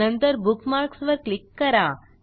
नंतरBookmarks वर क्लिक करा